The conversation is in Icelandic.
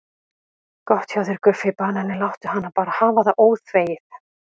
Gott hjá þér Guffi banani, láttu hana bara hafa það óþvegið.